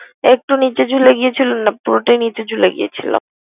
একটু নিচে ঝুলে গিয়েছিল না পুরোটাই নিচে ঝুলে গিয়েছিল।